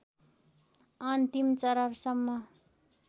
अन्तिम चरणसम्म